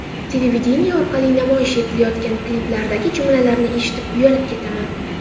Televideniye orqali namoyish etilayotgan kliplardagi jumlalarni eshitib, uyalib ketaman.